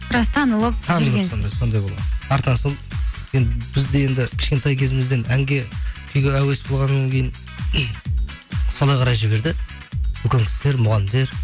біраз танылып сондай болғанмын артынан сол енді бізде енді кішкентай кезімізден әнге күйге әуес болғаннан кейін солай қарай жіберді үлкен кісілер мұғалімдер